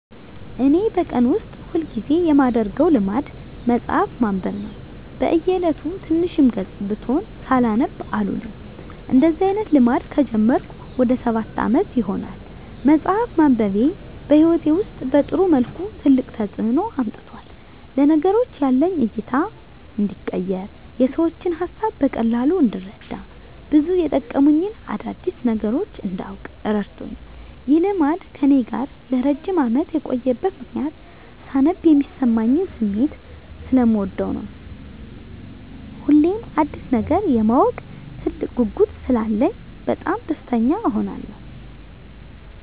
እኔ በቀን ውስጥ ሁል ጊዜ የማደረገው ልማድ መጽሀፍ ማንበብ ነው። በ እየለቱ ትንሽም ገፅ ብትሆን ሳላነብ አልውልም። እንደዚህ አይነት ልማድ ከጀመርኩ ወደ ሰባት አመት ይሆናል። መፅሃፍ ማንበቤ በህይወቴ ውስጥ በጥሩ መልኩ ትልቅ ተፅዕኖ አምጥቷል። ለነገሮች ያለኝ እይታ እንዲቀየር፣ የሰዎችን ሀሳብ በቀላሉ እንድረዳ፣ ብዙ የመጠቅሙኝን አዳዲስ ነገሮች እንዳውቅ እረድቶኛል። ይህ ልማድ ከእኔ ጋር ለረጅም አመት የቆየበት ምክንያትም ሳነብ የሚሰማኝን ስሜት ሰለምወደው ነው። ሁሌም አዲስ ነገር የማወቅ ትልቅ ጉጉት ስላለኝ በጣም ደስተኛ እሆናለሁ።